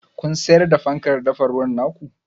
Kun siyar da fankar dafa ruwan ta ku?